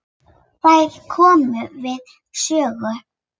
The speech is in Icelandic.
Þær komu við sögu.